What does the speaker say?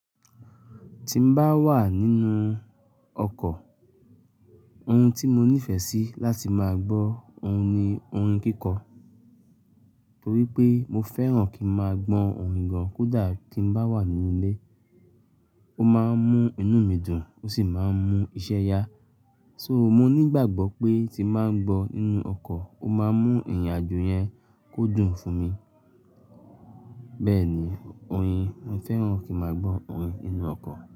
Ti n bá wà nínú ọkọ̀, ohun tí mo nífẹ̀ sí láti máa gbọ́ òun ni orin kíkọ. Torí pé mo fẹ́ràn kí n máa gbọ́ orin gan kódà kí n bá wà nínú ilé. Ó máa ń mú inú mi dùn, ó sì máa ń mú iṣẹ́ yá. So mo nígbàgbọ́ pé tí máa ń gbọ́ nínú ọkọ̀, ó máa mú ìrìn àjò yẹn kó dùn fún mi. Bẹ́ẹ̀ ni, orin mo fẹ́ràn kí n máa gbọ́ orin ninú ọkọ̀